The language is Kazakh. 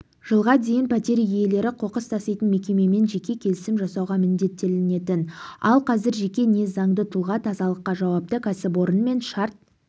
жылға дейін пәтер иелері қоқыс таситын мекемемен жеке келісім жасауға міндеттелетін ал қазір жеке не заңды тұлға тазалыққа жауапты кәсіпорынмен шарт